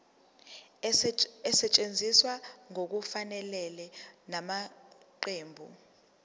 esetshenziswe ngokungafanele ngamaqembu